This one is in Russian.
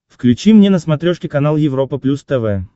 включи мне на смотрешке канал европа плюс тв